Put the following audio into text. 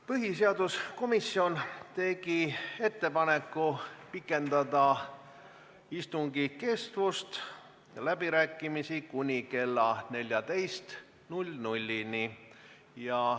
Põhiseaduskomisjon on teinud ettepaneku pikendada istungi kestust ja läbirääkimisi kuni kella 14-ni.